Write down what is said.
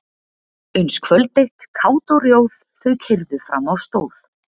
Uns kvöld eitt kát og rjóð þau keyrðu fram á stóð.